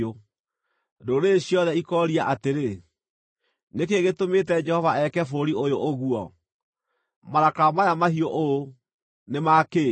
Ndũrĩrĩ ciothe ikooria atĩrĩ, “Nĩ kĩĩ gĩtũmĩte Jehova eke bũrũri ũyũ ũguo? Marakara maya mahiũ ũũ, nĩ ma kĩ?”